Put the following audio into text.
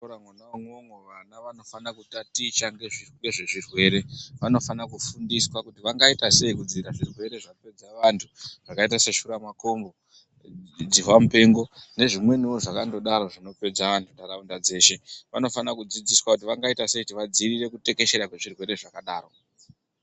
Muzvikora mwona imwomwo vana vanofanira kutaticha nezvezvirwere vanofana kufundiswa kuti vangaita sei nezvezvirwere zvapedza vantu zvakaita sesura matongo, dzihwa mupengo nezvimwenivo zvakangodaro zvinopedza antu munharaunda dzeshe. Vano vanofana kudzidziswa kuti vangaita sei vadzivirire kutekeshera kwezvirwere zvakadaro.